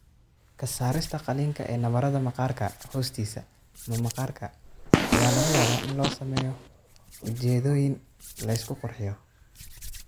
Ka saarista qaliinka ee nabarada maqaarka hoostiisa ama maqaarka ayaa laga yaabaa in loo sameeyo ujeeddooyin la isku qurxiyo.